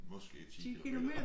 Måske 10 kilometer